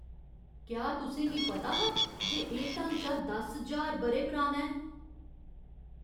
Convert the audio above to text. क्या तुसें गी पता हा जे एह् ढांचा दस ज्हार ब'रे पराना ऐ?